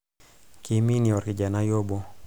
kiminie olkijanai obo